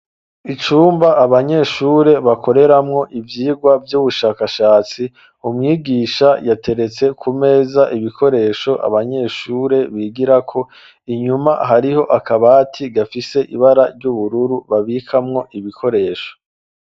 Icumba abanyeshure bakoreramwo ivyigwa vy'ubushakashatsi umwigisha yateretse ku meza ibikoresho abanyeshure bigirako inyuma hariho akabati gafise ibara ry'ubururu babikamwo ibikoresho.